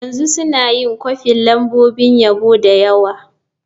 Yanzu suna yin kwafin lambobin yabo da yawa.